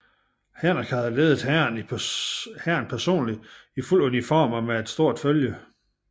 Henrik havde ledet hæren personligt i fuld uniform og med et stort følge